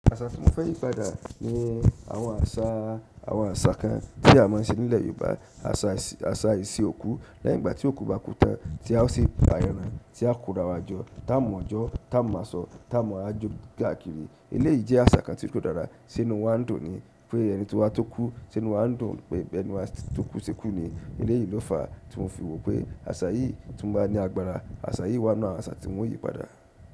Àṣà tí mo fẹ́ yí padà ni àwọn àṣà, àwọn àṣà kan tí a máa ń ṣe nílẹ̀ Yorùbá. Àṣà ìṣe òkú. Lẹ́yìn ìgbà tó òkú bá kú tán, tí a ó sì pa ẹran, tí a kóra wa jọ, tí a ó mu ojo, tamu aṣọ, tí a wa majo káàkiri. Eleyi jẹ́ àṣà kan tí kò dára, ṣé inú wa ń dùn ni, pé ẹni tí wà tó kù ṣé inú wa ndun pé ẹni wà tókù tí kú ni eléyìí ló fàá tí mo fi wò pé àṣà yìí tí mó bá ní agbára, àṣà yìí wà nínú àwọn àṣà tí nwo yí padà.